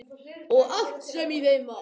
Og allt sem í þeim var.